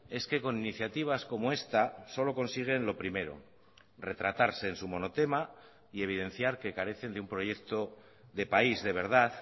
es que con iniciativas como esta solo consiguen lo primero retratarse en su monotema y evidenciar que carecen de un proyecto de país de verdad